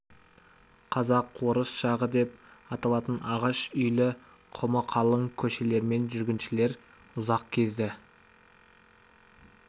қазақ-орыс жағы деп аталатын ағаш үйлі құмы қалың көшелермен жүргіншілер ұзақ кезді